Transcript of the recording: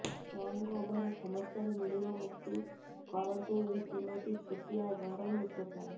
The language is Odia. ହ୍ୟାଙ୍ଗଓଭର ସମସ୍ୟାରୁ ମିଳିବ ମୁକ୍ତି କରନ୍ତୁ ଏହି ତିନୋଟି ଛୋଟିଆ ଘରୋଇ ଉପଚାର